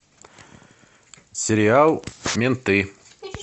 сериал менты